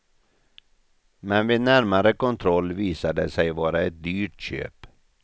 Men vid närmare kontroll visade det sig vara ett dyrt köp.